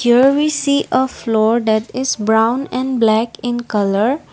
Here we see a floor that is brown and black in colour.